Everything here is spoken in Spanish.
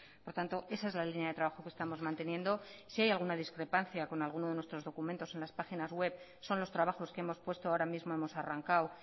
por tanto esa es la línea de trabajo que estamos manteniendo si hay alguna discrepancia con alguno de nuestros documentos en las páginas web son los trabajos que hemos puesto ahora mismo hemos arrancado